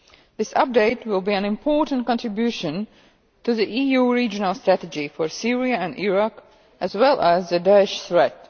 This update will be an important contribution to the EU regional strategy for Syria and Iraq as well as the Da'esh threat.